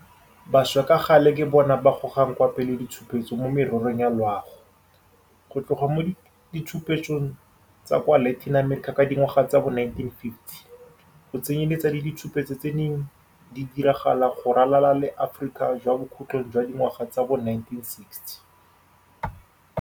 Bašwa ka gale ke bona ba gogang kwa pele ditshupetso mo mererong ya loago, go tloga mo ditshupetsong tsa kwa Latin America ka dingwaga tsa bo 1950, go tsenyeletsa le ditshupetso tse di neng di diragala go ralala le Aforika kwa bokhutlhong jwa dingwaga tsa bo 1960.